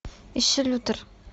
ищи лютер